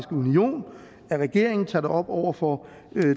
at regeringen tager det op over for